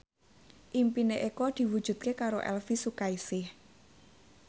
impine Eko diwujudke karo Elvi Sukaesih